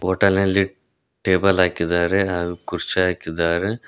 Hotel ನಲ್ಲಿ table ಹಾಕಿದ್ದಾರೆ ಹಾಗು ಕುರ್ಚಿ ಹಾಕಿದ್ದಾರೆ.